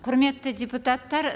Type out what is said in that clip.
құрметті депутаттар